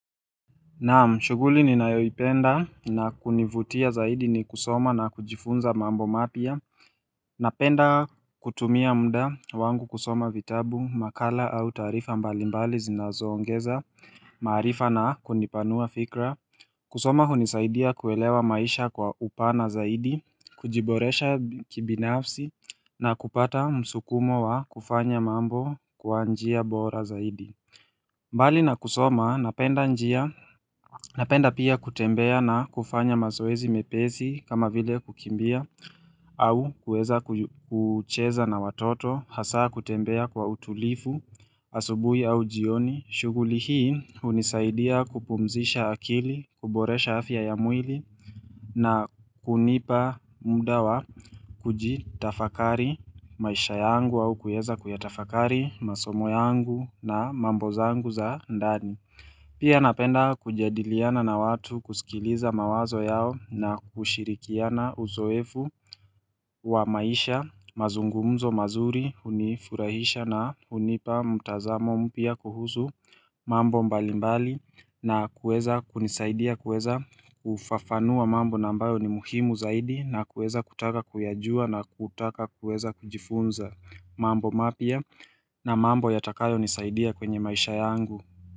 Naam, shughuli ninayoipenda na kunivutia zaidi ni kusoma na kujifunza mambo mapya Napenda kutumia mda wangu kusoma vitabu, makala au taarifa mbali mbali zinazo ongeza, maarifa na kunipanua fikra kusoma hunisaidia kuelewa maisha kwa upana zaidi, kujiboresha kibinafsi na kupata msukumo wa kufanya mambo kwa njia bora zaidi mbali na kusoma napenda njia Napenda pia kutembea na kufanya mazoezi mepesi kama vile kukimbia au kuweza kucheza na watoto, hasa kutembea kwa utulivu, asubuhi au jioni. Shughuli hii hunisaidia kupumzisha akili, kuboresha afia ya mwili na kunipa mda wa kujitafakari maisha yangu au kueza kuyatafakari masomo yangu na mambo zangu za ndani. Pia napenda kujadiliana na watu kusikiliza mawazo yao na kushirikiana uzoefu wa maisha mazungumzo mazuri hunifurahisha na hunipa mtazamo mpya kuhusu mambo mbali mbali na kueza kunisaidia kueza kufafanua mambo na ambayo ni muhimu zaidi na kueza kutaka kuyajua na kutaka kueza kujifunza mambo mapya na mambo yatakayo nisaidia kwenye maisha yangu.